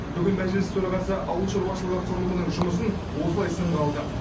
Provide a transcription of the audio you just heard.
бүгін мәжіліс төрағасы ауыл шаруашылығы құрылымының жұмысын осылай сынға алды